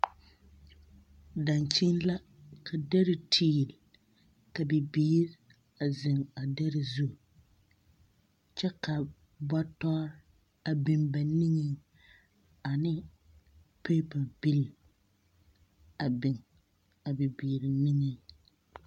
Dankyini la, ka dɛre tiil, ka bibiiri a zeŋ a dɛre zu, kyɛ ka bɔtɔre a biŋ ba niŋeŋ ane peepa-bil a biŋ a bibiiri niŋeŋ.